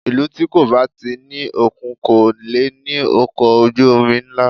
Ìlú tí kò bá ti ní òkun kò lè ní ọkọ̀ ojú omi ńlá